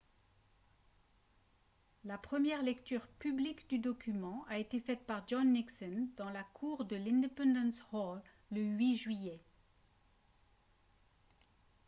la première lecture publique du document a été faite par john nixon dans la cour de l'independence hall le 8 juillet